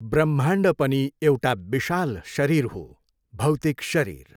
ब्रह्माण्ड पनि एउटा विशाल शरीर हाे, भैातिक शरीर।